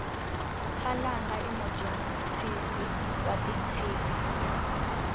khalanga imujontshisisi watintshimi